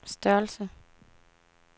størrelse